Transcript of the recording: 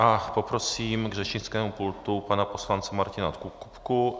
A poprosím k řečnickému pultu pana poslance Martina Kupku.